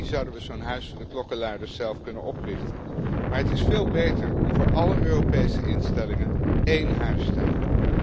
In theorie zouden we zo'n huis voor de klokkenluiders zelf kunnen oprichten. Maar het is veel beter om voor alle Europese instellingen één huis te hebben.